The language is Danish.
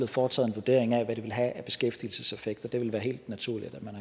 foretaget en vurdering af hvad det ville have af beskæftigelseseffekter det ville være helt naturligt at man